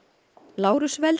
Lárus